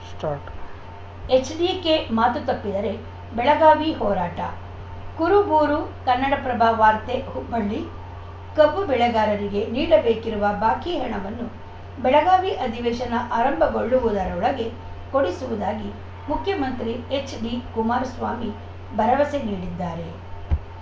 start HDK ಮಾತು ತಪ್ಪಿದರೆ ಬೆಳಗಾವಿ ಹೋರಾಟ ಕುರುಬೂರು ಕನ್ನಡಪ್ರಭ ವಾರ್ತೆ ಹುಬ್ಬಳ್ಳಿ ಕಬ್ಬು ಬೆಳೆಗಾರರಿಗೆ ನೀಡಬೇಕಿರುವ ಬಾಕಿ ಹಣವನ್ನು ಬೆಳಗಾವಿ ಅಧಿವೇಶನ ಆರಂಭಗೊಳ್ಳುವುದರೊಳಗೆ ಕೊಡಿಸುವುದಾಗಿ ಮುಖ್ಯಮಂತ್ರಿ ಎಚ್‌ಡಿ ಕುಮಾರಸ್ವಾಮಿ ಭರವಸೆ ನೀಡಿದ್ದಾರೆ